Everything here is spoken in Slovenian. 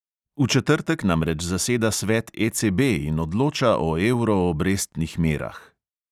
V četrtek namreč zaseda svet ECB in odloča o evro obrestnih merah.